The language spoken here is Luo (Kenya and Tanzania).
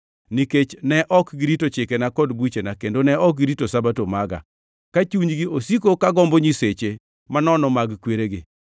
nikech ne ok girito chikena gi buchena kendo ne ok girito Sabato maga, ka chunygi osiko kagombo nyiseche manono mag kweregi.